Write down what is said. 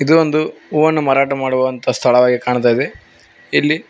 ಇದು ಒಂದು ಹೂವನ್ನು ಮಾರಾಟ ಮಾಡುವಂತಹ ಸ್ಥಳವಾಗಿ ಕಾಣ್ತಾ ಇದೆ ಇಲ್ಲಿ--